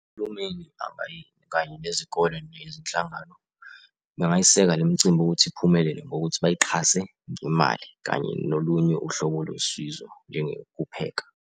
Uhulumeni kanye nezikole nezinhlangano, bangayiseka lemcimbi ukuthi iphumelele ngokuthi bayixhase ngemali, kanye nolunye uhlobo losizo kupheka.